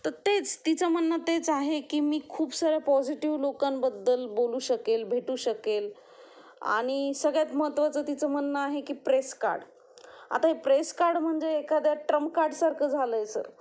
तर तेच, तिचं म्हणणं तेच आहे की मी खूप साऱ्या पॉजिटीव्ह लोकांबद्दल बोलू शकेल, भेटू शकेल आणि सगळ्यात महत्वाचं तिचं म्हणणं आहे की प्रेस कार्ड. आता प्रेस कार्ड म्हणजे एखाद्या ट्रम्प कार्ड सारखं झालंय सर.